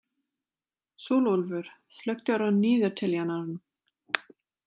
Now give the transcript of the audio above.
Sólúlfur, slökktu á niðurteljaranum.